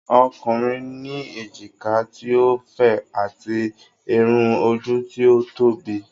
Ọkùnrin ní èjìká ti o fẹ̀, ati Irun ojú tí ó tóbi.